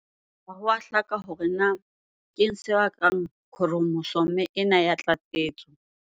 Ha ho a hlaka hore na keng se bakang khromosome ena ya tlatsetso.